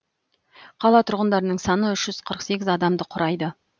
қала тұрғындарының саны үш жүз қырық сегіз адамды құрайды